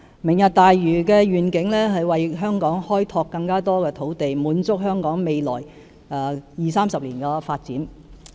"明日大嶼"的願景是為香港開拓更多土地，滿足香港未來二、三十年的發展需要。